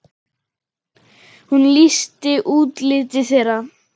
Hún lýsti útliti þeirra.